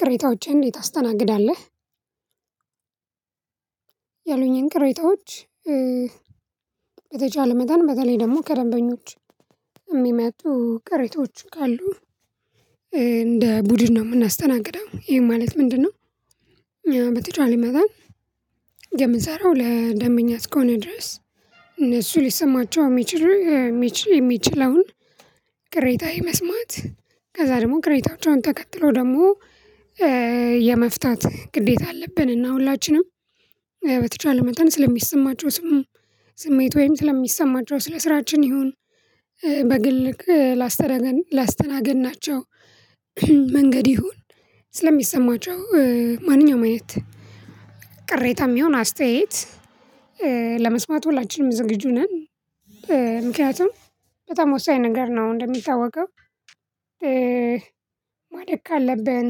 ቅሬታዎችህን እንዴት ታስተናግዳለህ? ያሉኝን ቅሬታዎች በተቻለ መጠን በተለይ ደግሞ ከደንበኞች እሚመጡ ቅሬታዎች ካሉ እንደ ቡድን ነው ምናስተናግደው ይሄ ማለት ምንድነው? በተቻለኝ መጠን የምንሰራው ለደንበኛ እስከሆነ ድረስ እነሱ ሊሰማቸው እሚችል የሚችለውን ቅሬታ የመስማት ከዛ ደግሞ ቅሬታዎችን ተከትሎ ደግሞ የመፍታት ግዴታ አለብን እና ሁላችንም በተቻለ መጠን ስለሚሰማቸው ስሜት ወይም ስለሚሰማቸው ስለ ስራችን ይሁን በግል ላስተናገድ ናቸው መንገድ ይሁን ስለሚሰማቸው ማንኛውም አይነት ቅሬታ ሚሆን አስተያየት ለመስማት ሁላችንም ዝግጁ ነን። ምክንያቱም በጣም ወሳኝ ነገር ነው። እንደሚታወቀው ማደግ ካለብን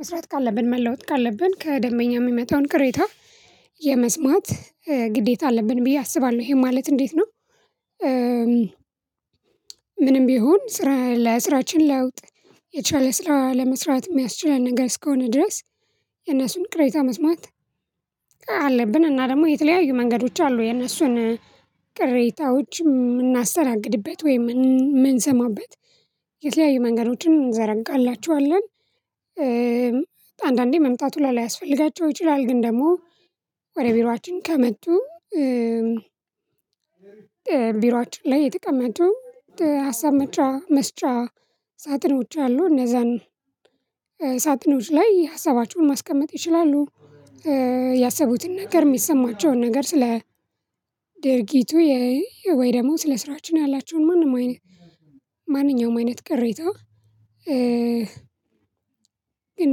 መስራት ካለብን መለወጥ ካለብን ከደንበኛ ሚመጣውን ቅሬታ የመስማት ግዴታ አለብን ብዬ አስባለሁ። ይሄ ማለት እንዴት ነው? ምንም ቢሆን ስራ ለስራችን ለውጥ የቻለ ስራ ለመስራት ሚያስችለን ነገር እስከሆነ ድረስ የእነሱን ቅሬታ መስማት አለብን። እና ደግሞ የተለያዩ መንገዶች አሉ የነሱን ቅሬታዎች ምናስተናግድበት ወይም ምንሰማበት የተለያዩ መንገዶችን እንዘረጋላችኋለን። አንዳንዴ መምጣቱ ላይ ሊያስፈልጋቸው ይችላል ግን ደግሞ ወደ ቢሮአችን ከመጡ። ቢሮአችን ላይ የተቀመጡ ሀሳብ መጫ መስጫ ሳጥኖች አሉ እነዛን ሳጥኖች ላይ ሀሳባቸውን ማስቀመጥ ይችላሉ። ያሰቡትን ነገር ሚሰማቸውን ነገር ስለ ድርጊቱ ወይ ደግሞ ስለ ስራችን ያላቸውን ማንም አይነት ማንኛውም አይነት ቅሬታ ግን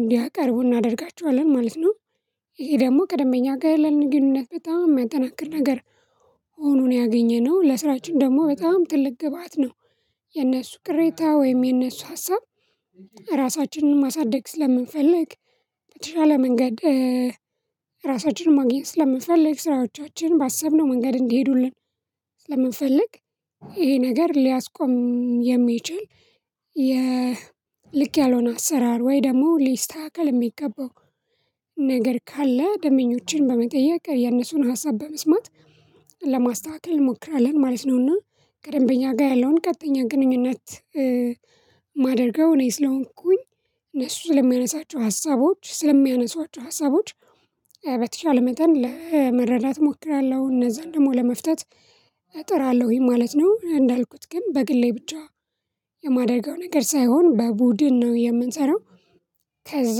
እንዲያቅርቡ እናደርጋቸዋለን ማለት ነው። ይሄ ደግሞ ከደምበኛ ጋ ያለንን ግንኙነት በጣም የሚያጠናክር ነገር ሆኖ ነው ያገኘነው። ለስራችን ደግሞ በጣም ትልቅ ግብአት ነው። የነሱ ቅሬታ ወይም የነሱ ሀሳብ ራሳችንን ማሳደግ ስለምንፈልግ በተሻለ መንገድ ራሳችንን ማግኘት ስለምንፈልግ ስራዎቻችን ባሰብነው መንገድ እንዲሄዱልን ስለምንፈልግ ይሄ ነገር ሊያስቆም የሚችል የልክ ያልሆነ አሰራር ወይ ደግሞ ሊስተካከል እሚገባው ነገር ካለ ደምበኞችን በመጠየቅ የነሱን ሀሳብ በመስማት ለማስተካከል እንሞክራለን። ማለት ነውና ከደንበኛ ጋ ያለውን ቀጥተኛ ግንኙነት ማደርገው እኔ ስለሆንኩኝ እነሱ ስለሚያነሳቸው ሀሳቦች ስለሚያነሷቸው ሀሳቦች በተቻለ መጠን ለመረዳት እሞክራለሁ እነዛን ደግሞ ለመፍታት እጥራለሁኝ ማለት ነው። እንዳልኩት ግን በግሌ ብቻ የማደርገው ነገር ሳይሆን በቡድን ነው የምንሰራው። ከዛ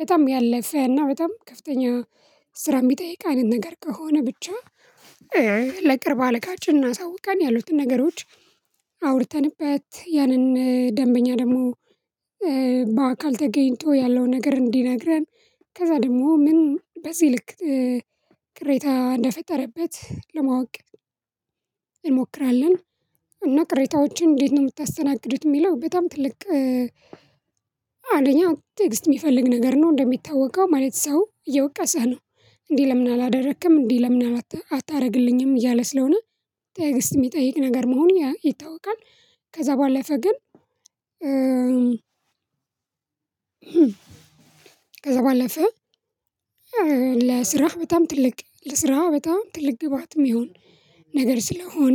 በጣም ያለፈ እና በጣም ከፍተኛ ስራ ሚጠይቅ አይነት ነገር ከሆነ ብቻ በቅርብ አልካጭ እና አሳውቀን ያሉትን ነገሮች አውርተንበት ያንን ደንበኛ ደግሞ በአካል ተገኝቶ ያለው ነገር እንዲነግረን ከዛ ደግሞ ምን በዚህ ልክ ቅሬታ እንደፈጠረበት ለማወቅ እንሞክራለን። እና ቅሬታዎችን እንዴት ነው ምታስተናግዱት? ሚለው በጣም ትልቅ አንደኝ ቴክስት ሚፈልግ ነገር ነው። እንደሚታወቀው ማለት ሰው እየወቀሰህ ነው። እንዲህ ለምን አላደረክም እንዲህ ለምን አታደርግልኝም እያለ ስለሆነ ጤግዝት ሚጠይቅ ነገር መሆን ይታወቃል። ከዛ ባለፈ ግን። ከዛ ባለፈ ለስራህ በጣም ትልቅ ለስራህ በጣም ትልቅ ግባትም ሚሆን ነገር ስለሆነ።